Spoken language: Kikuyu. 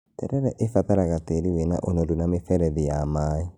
Terere ĩbataraga tĩĩri wĩna ũnorũ na mĩberethi ya maĩ